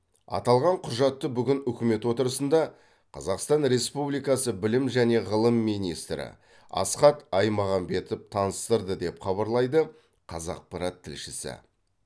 аталған құжатты бүгін үкімет отырысында қазақстан республикасы білім және ғылым министрі асхат аймағамбетов таныстырды деп хабарлайды қазақпарат тілшісі